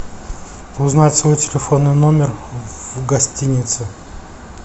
узнать свой телефонный номер в гостинице